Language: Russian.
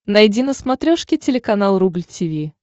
найди на смотрешке телеканал рубль ти ви